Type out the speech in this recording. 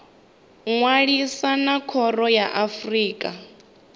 ṅwalisa na khoro ya afrika